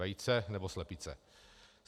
Vejce, nebo slepice?